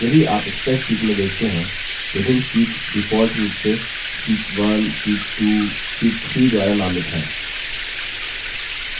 यदि आप spreadsheet में देखते हैं विभिन्न शीट्स default रूप से sheet 1 sheet 1 sheet 1 द्वारा नामित हैं